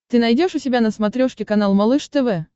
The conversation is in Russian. ты найдешь у себя на смотрешке канал малыш тв